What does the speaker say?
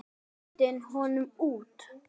Hendið honum út!